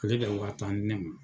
Ale ka wa tan di ne ma.